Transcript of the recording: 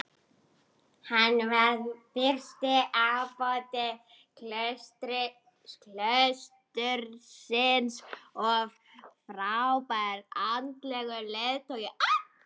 Hann varð fyrsti ábóti klaustursins og frábær andlegur leiðtogi.